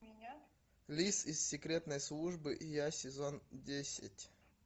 лис из секретной службы и я сезон десять